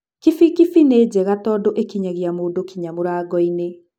Kibikibi nĩnjega tondũ ĩkinyagia mũndũ nginya mũrango-inĩ.